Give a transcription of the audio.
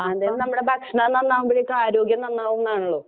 അല്ലേലും നമ്മുടെ ഭക്ഷണം നന്നാകുമ്പോഴത്തേയ്ക്കും ആരോഗ്യം നന്നാവുന്നാണല്ലോ?